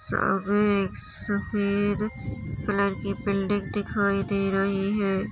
सामने एक सफ़ेद कलर की बिल्डिंग दिखाई दे रही है।